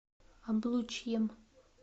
облучьем